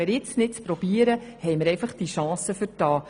Aber wenn wir es jetzt nicht versuchen, haben wir diese Chance vertan.